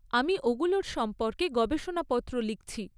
আমি ওগুলোর সম্পর্কে গবেষণাপত্র লিখছি।